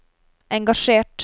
engasjert